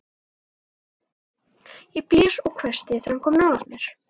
Ég blés og hvæsti þegar hann kom nálægt mér.